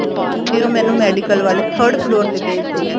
ਫੇਰ ਉਹ ਮੈਨੂੰ medical ਵਾਲੇ third floor ਤੇ ਭੇਜਦੇ ਆ